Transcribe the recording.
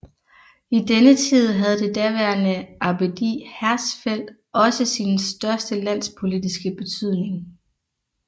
I denne tid havde det daværende abbedi Hersfeld også sin største landspolitiske betydning